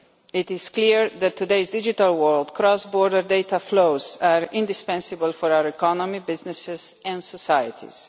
It is clear that, in today's digital world, cross border data flows are indispensable for our economy, businesses and societies.